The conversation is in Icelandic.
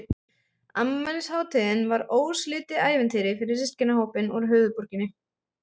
Hann, þessi loðfíll, barði mig fyrir utan Norðurpólinn.